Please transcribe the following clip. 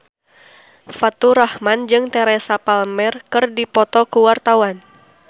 Faturrahman jeung Teresa Palmer keur dipoto ku wartawan